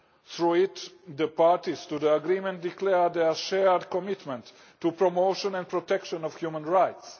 Through it, the parties to the agreement declare their shared commitment to the promotion and protection of human rights.